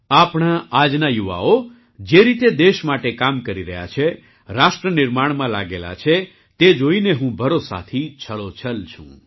આપણા આજના યુવાઓ જે રીતે દેશ માટે કામ કરી રહ્યા છે રાષ્ટ્ર નિર્માણમાં લાગેલા છે તે જોઈને હું ભરોસાથી છલોછલ છું